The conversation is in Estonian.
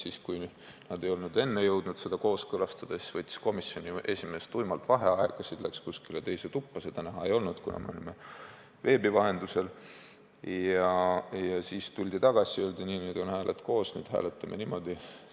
Ja kui nad ei olnud enne jõudnud kooskõlastada, siis võttis komisjoni esimees tuimalt vaheaja, mindi kuskile teise tuppa – seda näha ei olnud, kuna me osalesime veebi vahendusel –, siis tuldi tagasi ja öeldi, et nii, nüüd on hääled koos, nüüd hääletame niimoodi.